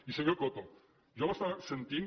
i senyor coto jo l’estava sentint